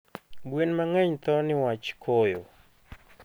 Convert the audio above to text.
gwen mangeny thoo niwach koyo